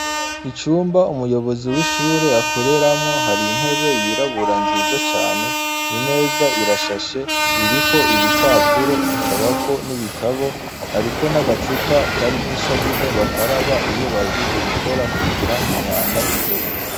Icumba umuyobozi w'ishure akoreramwo hari intebe yirabura nziza cane, imeza irashashe iriko ibipapuro ikabako n'ibitabo, hariko n'agacupa karimwo isabuni bakaraba iyo bahejeje gukora kugira ngo imyanda iveko.